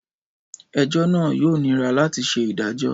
Ẹjọ naa yoo nira lati ṣe idajọ.